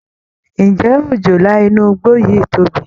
Ǹjẹ́ òjòlá inú igbó yìí tóbi?